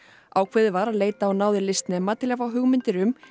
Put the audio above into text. ákveðið var að leita á náðir listnema til að fá hugmyndir um